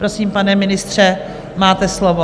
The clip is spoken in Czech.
Prosím, pane ministře, máte slovo.